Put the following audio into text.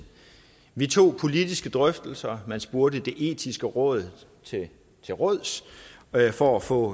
vi tog politiske drøftelser man spurgte det etiske råd til til råds for at få